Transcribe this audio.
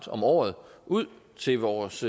om året ud til vores